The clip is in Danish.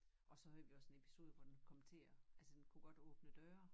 Og havde vi også en episode hvor den kom til at altså den kunne godt åbne døre